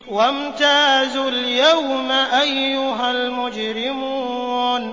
وَامْتَازُوا الْيَوْمَ أَيُّهَا الْمُجْرِمُونَ